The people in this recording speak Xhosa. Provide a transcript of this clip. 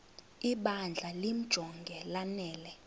ibandla limjonge lanele